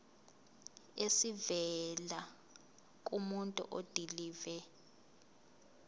esivela kumuntu odilive